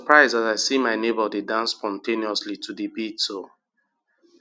prise as i see my neighbor dey dance spontaneously to the beats oh.